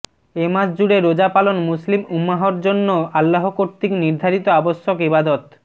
এ মাস জুড়ে রোজা পালন মুসলিম উম্মাহর জন্য আল্লাহ কর্তৃক নির্ধারিত আবশ্যক ইবাদত